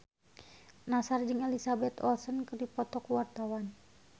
Nassar jeung Elizabeth Olsen keur dipoto ku wartawan